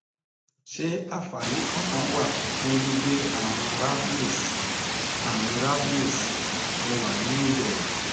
ṣé àfààní kankan wà fún gbígbé àrùn rabies àrùn rabies mo wà nínú ìbẹrù